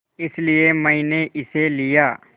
इसलिए मैंने इसे लिया